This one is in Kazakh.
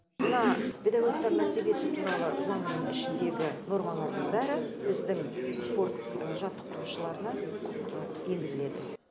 мына педагогтар мәртебесі туралы заңның ішіндегі нормалардың бәрі біздің спорт жаттықтырушыларына енгізіледі